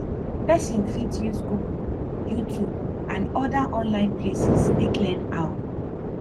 person fit use google youtube and oda online places take learn how